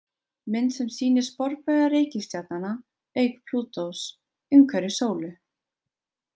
Mynd sem sýnir sporbauga reikistjarnanna, auk Plútós, umhverfis sólu.